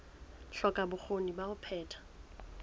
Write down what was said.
hloka bokgoni ba ho phetha